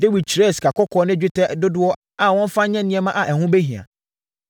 Dawid kyerɛɛ sikakɔkɔɔ ne dwetɛ dodoɔ a wɔmfa nyɛ nneɛma a ɛho bɛhia.